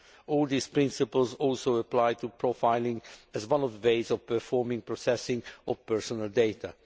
All these principles also apply to profiling as one of the ways of performing processing of personal data.